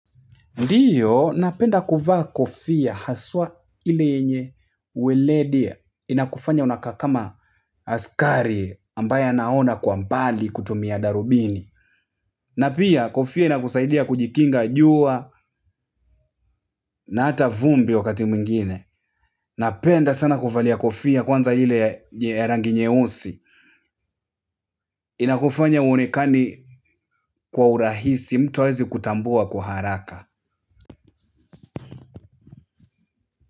Ndiyo, napenda kuvaa kofia haswa ile yenye weledi. Inakufanya unakaa kama askari ambaye anaona kwa mbali kutumia darubini na pia, kofia inakusaidia kujikinga jua na hata vumbi wakati mwingine. Napenda sana kuvalia kofia kwanza ile ya rangi nyeusi. Inakufanya huonekani kwa urahisi mtu haezikutambua kwa haraka.